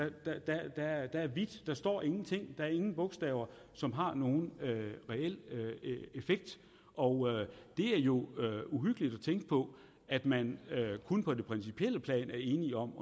er plads der er hvidt der står ingenting der er ingen bogstaver som har nogen reel effekt og det er jo uhyggeligt at tænke på at man kun på det principielle plan er enige om